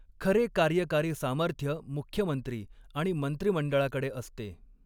खरे कार्यकारी सामर्थ्य मुख्यमंत्री आणि मंत्रिमंडळाकडे असते.